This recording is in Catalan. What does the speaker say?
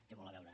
té molt a veure